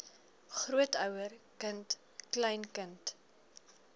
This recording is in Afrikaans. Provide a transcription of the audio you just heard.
grootouer kind kleinkind